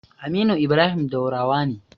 Aminu Ibrahim Daurawa ne.